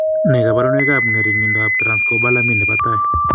Nee kabarunoikab ng'ering'indoab Transcobalamin nebo tai?